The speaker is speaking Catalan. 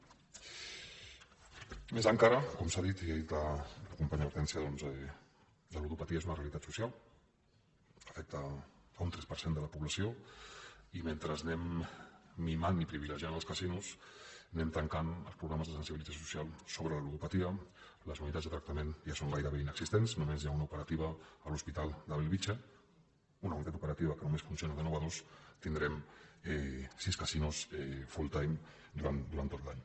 més encara com s’ha dit i ha dit la companya hortènsia doncs la ludopatia és una realitat social afecta un tres per cent de la població i mentre anem mimant i privilegiant els casinos anem tancant els programes de sensibilització social sobre la ludopatia les unitats de tractament ja són gairebé inexistents només n’hi ha una d’operativa a l’hospital de bellvitge una unitat operativa que només funciona de nou a dues tindrem sis casinos full time durant tot l’any